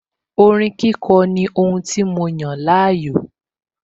Orin kíkọ ní ohun tí mo yàn láàyò